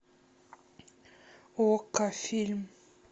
окко фильм